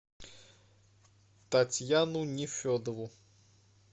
татьяну нефедову